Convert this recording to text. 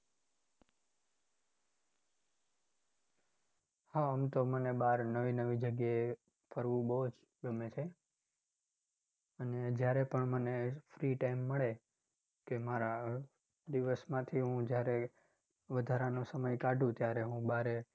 હા આમ તો મને બાર નવી નવી જગ્યાએ ફરવું બૌ જ ગમે છે, અને જ્યારે પણ મને free time મળે કે મારા ઉહ દિવસમાંથી હું જ્યારે વધારાનો સમય કાઢું ત્યારે હું બારે.